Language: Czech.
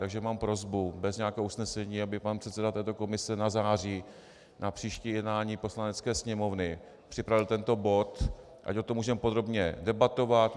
Takže mám prosbu, bez nějakého usnesení, aby pan předseda této komise na září na příští jednání Poslanecké sněmovny připravil tento bod, ať o tom můžeme podrobně debatovat.